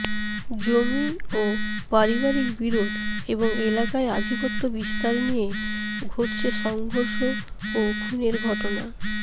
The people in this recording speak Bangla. জমি ও পারিবারিক বিরোধ এবং এলাকায় আধিপত্য বিস্তার নিয়ে ঘটছে সংঘর্ষ ও খুনের ঘটনা